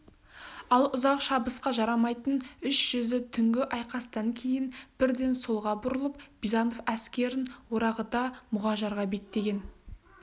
ал ұзақ шабысқа жарамайтын үш жүзі түнгі айқастан кейін бірден солға бұрылып бизанов әскерін орағыта мұғажарға беттеген